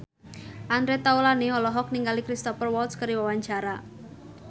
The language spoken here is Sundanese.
Andre Taulany olohok ningali Cristhoper Waltz keur diwawancara